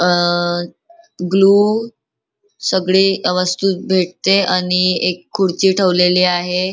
अ glue सगळी वस्तू भेटते आणि एक खुर्ची ठेवलेली आहे.